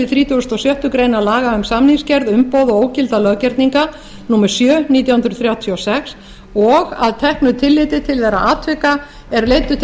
þrítugasta og sjöttu grein laga um samningsgerð umboð og ógilda löggerninga númer sjö nítján hundruð þrjátíu og sex og að teknu tilliti til þeirra atvika er leiddu til